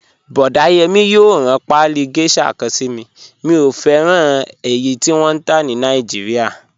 Boda Yemi yòò ran paálí geisha kan sí mí, mí o fẹran ènì tí wọn n tá ní Naijíríà.